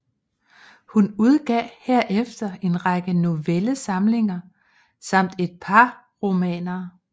Hun udgav herefter en række novellesamlinger samt et par romaner